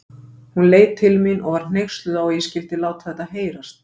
Hún leit til mín og var hneyksluð á að ég skyldi láta þetta heyrast.